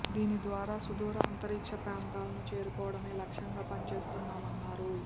దీని ద్వారా సుదూర అంతరిక్ష ప్రాంతాలను చేరుకోవడమే లక్ష్యంగా పనిచేస్తున్నామన్నారు